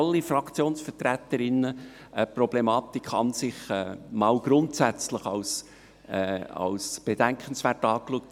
Alle Fraktionsvertreterinnen und vertreter haben die Problematik an und für sich grundsätzlich als bedenkenswert angeschaut.